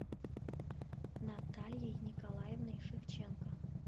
натальей николаевной шевченко